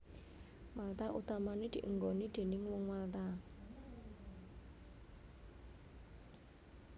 Malta utamané dienggoni déning Wong Malta